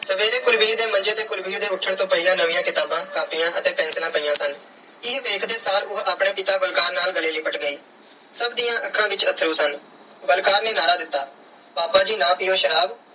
ਸਵੇਰੇ ਕੁਲਵੀਰ ਦੇ ਮੰਜੇ ਤੇ ਕੁਲਵੀਰ ਦੇ ਉੱਠਣ ਤੋੋਂ ਪਹਿਲਾਂ ਨਵੀਆਂ ਕਿਤਾਬਾਂ, ਕਾਪੀਆਂ ਅਤੇ ਪੈਨਸਿਲਾਂ ਪਈਆਂ ਸਨ। ਇਹ ਵੇਖਦੇ ਸਾਰ ਉਹ ਆਪਣੇ ਪਿਤਾ ਬਲਕਾਰ ਨਾਲ ਗਲੇ ਲਿਪਟ ਗਈ। ਸਭ ਦੀਆਂ ਅੱਖਾਂ ਵਿੱਚ ਅੱਥਰੂ ਸਨ। ਬਲਕਾਰ ਨੇ ਨਾਅਰਾ ਦਿੱਤਾ ਪਾਪਾ ਜੀ ਨਾ ਪੀਓ ਸ਼ਰਾਬ,